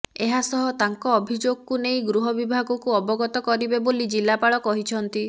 ଏହାସହ ତାଙ୍କ ଅଭିଯୋଗକୁ ନେଇ ଗୃହ ବିଭାଗକୁ ଅବଗତ କରିବେ ବୋଲି ଜିଲ୍ଲାପାଳ କହିଛନ୍ତି